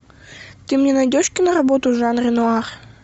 ты мне найдешь киноработу в жанре нуар